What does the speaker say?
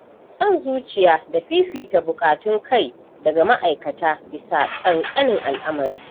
Son zuciya da fifita buƙatun kai daga ma'aikata bisa ƙanƙanin al'amari.